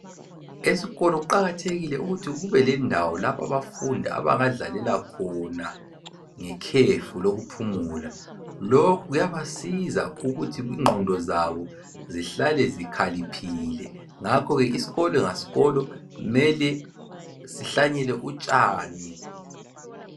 Esikolo kuqakathekile ukuthi kube lendawo lapho abafundi abangadlalela khona ngekhefu lokuphumula. Lokhu kuyabasiza ukuthi ingqondo zabo zihlale zikhaliphile. Ngakho ke isikolo ngasikolo mele sihlanyele utshani.